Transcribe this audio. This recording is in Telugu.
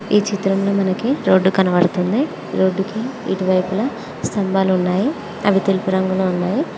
ఈ చిత్రంలో మనకి రోడ్డు కనబడుతుంది రోడ్డు కి ఇరువైపులా స్తంభాలు ఉన్నాయి అవి తెలుపు రంగులో ఉన్నాయి.